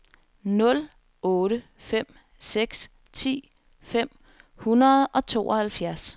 nul otte fem seks ti fem hundrede og tooghalvfjerds